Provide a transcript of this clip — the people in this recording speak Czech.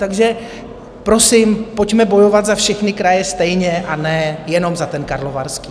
Takže prosím, pojďme bojovat za všechny kraje stejně, a ne jenom za ten Karlovarský.